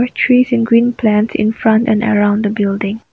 there is a green plant in front and around the building.